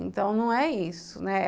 Então, não é isso, né?